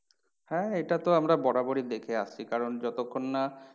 হ্যাঁ এটা তো আমরা বরাবরই দেখে আসছি। কারণ যতক্ষণ না